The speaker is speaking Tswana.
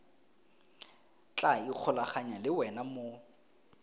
tla ikgolaganya le wena mo